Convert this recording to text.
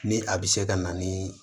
Ni a bɛ se ka na ni